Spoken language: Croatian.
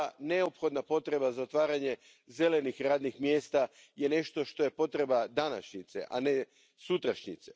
Neophodna potreba za otvaranjem zelenih radnih mjesta je nešto što je potreba današnjice, a ne sutrašnjice.